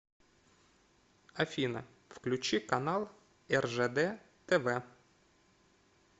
афина включи канал ржд тв